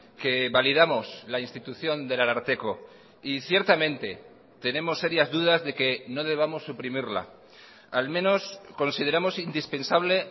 que validamos la institución del ararteko y ciertamente tenemos serias dudas de que no debamos suprimirla al menos consideramos indispensable